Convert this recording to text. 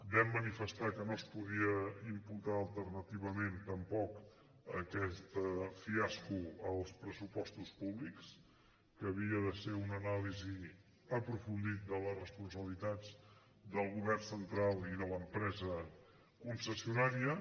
vam manifestar que no es podia imputar alternativament tampoc aquest fiasco als pressupostos públics que havia de ser una anàlisi aprofundida de les responsabilitats del govern central i de l’empresa concessionària